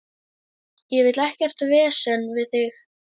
Ég vil ekkert vesen við þig.